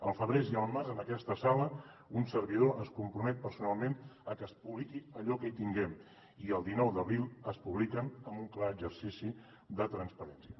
al febrer i al març en aquesta sala un servidor es compromet personalment a que es publiqui allò que tinguem i el dinou d’abril es publiquen amb un clar exercici de transparència